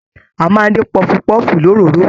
A máa n dín pọfupọfu l'òróró.